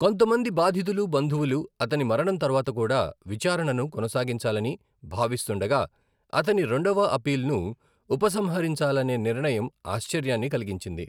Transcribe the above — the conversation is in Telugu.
కొంతమంది బాధితులు బంధువులు అతని మరణం తర్వాత కూడా విచారణను కొనసాగించాలని భావిస్తుండగా, అతని రెండవ అప్పీలును ఉపసంహరించాలనే నిర్ణయం ఆశ్చర్యాన్ని కలిగించింది.